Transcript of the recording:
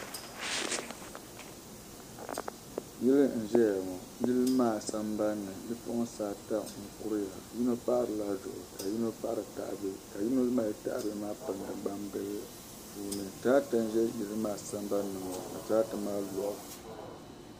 Yili n zaya ŋɔ yili maa zambani bipuɣinsi ata m kuriya yino paɣirila duɣi ka yino paɣiri o zabiri ka yino mali tahili bihi ka yino mali tahibihi ka yino mali gbanbihi pilindi puuni tarata ʒi yili maa sambani ŋɔ ni tarata maa lɔɣu.